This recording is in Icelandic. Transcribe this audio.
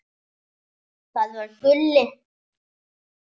Það var Gulli.